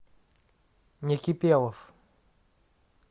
некипелов